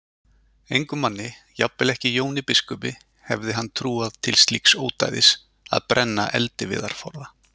Engum manni, jafnvel ekki Jóni biskupi, hefði hann trúað til slíks ódæðis að brenna eldiviðarforða.